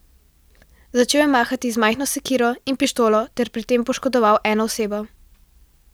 Začel je mahati z majhno sekiro in pištolo ter pri tem poškodoval eno osebo.